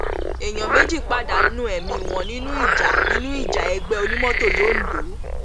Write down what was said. èèyàn méjì pàdánù ẹmí wọn nínú ìjà nínú ìjà ẹgbẹ onímọtò londo